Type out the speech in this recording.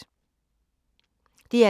DR K